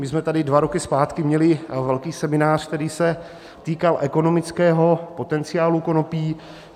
My jsme tady dva roky zpátky měli velký seminář, který se týkal ekonomického potenciálu konopí.